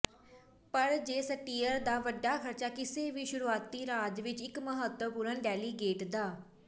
ਪਰ ਜੇ ਸਟੀਅਰ ਦਾ ਵੱਡਾ ਖਰਚਾ ਕਿਸੇ ਵੀ ਸ਼ੁਰੂਆਤੀ ਰਾਜ ਵਿੱਚ ਇੱਕ ਮਹੱਤਵਪੂਰਣ ਡੈਲੀਗੇਟ ਦਾ